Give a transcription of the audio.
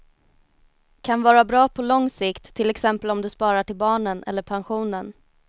Kan vara bra på lång sikt, till exempel om du sparar till barnen eller pensionen.